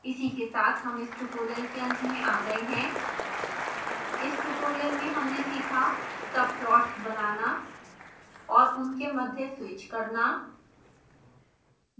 इसी के साथ हम इस tutorial के अंत में आ गए हैं